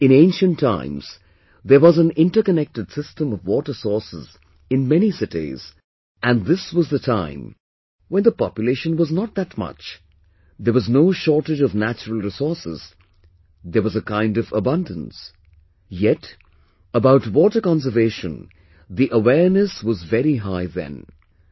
In ancient times, there was an interconnected system of water sources in many cities and this was the time, when the population was not that much, there was no shortage of natural resources, there was a kind of abundance, yet, about water conservation the awareness was very high then,